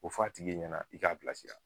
O f'a tigi ɲɛna i k'a bilara